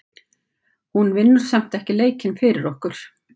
Hún vinnur samt ekki leikinn fyrir okkur.